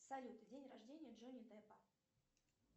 салют день рождения джонни деппа